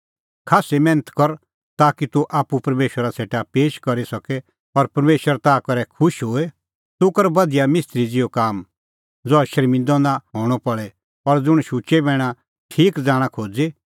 खास्सी मैन्थ कर ताकि तूह आप्पू परमेशरा सेटा पेश करी सके और परमेशर ताह करै खुश होए तूह कर बधिया मिस्त्री ज़िहअ काम ज़हा शर्मिंदअ नां हणअ पल़े और ज़ुंण शुचै बैणा ठीक ज़ाणा खोज़ी